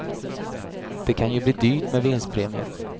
Det kan ju bli dyrt med vinstpremier.